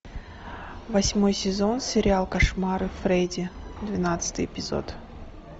восьмой сезон сериал кошмары фредди двенадцатый эпизод